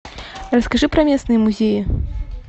расскажи про местные музеи